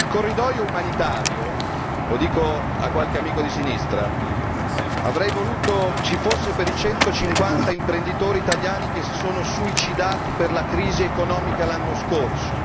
Il corridoio umanitario lo dico a qualche amico di sinistra avrei voluto ci fosse per i 150 imprenditori italiani che si sono suicidati per la crisi economica l'anno scorso.